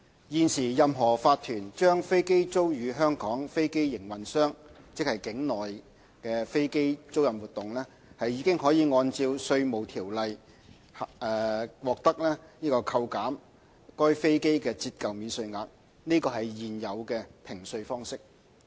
現時，任何法團將飛機租予香港飛機營運商，即境內飛機租賃活動，已可按《稅務條例》獲得扣減該飛機的折舊免稅額，這是現有的評稅方式。